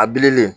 A bililen